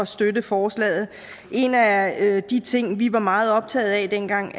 støtte forslaget en af de ting vi var meget optaget af dengang